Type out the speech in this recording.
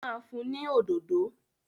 Ó ma fún ni òdòdó